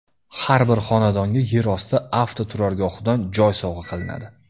Har bir xonadonga yer osti avtoturargohidan joy sovg‘a qilinadi!